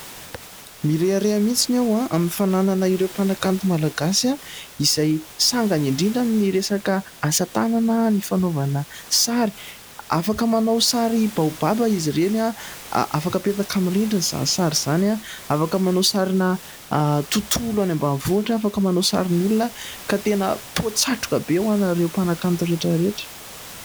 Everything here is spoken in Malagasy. Mirehareha mitsiny aho a ! Amin'ny fananana ireo mpanakanto malagasy, izay sangany indrindra amin'ny resaka asa tanana ny fanaovana sary, afaka manao sary baobab izy ireny, afaka apetaka amin'ny rindrina izany sary izany, afaka manao sarina tontolo any ambanivohitra, afaka manao sarin'olona ka tena poa-tsatroka be ho anareo mpanakanto rehetra rehetra.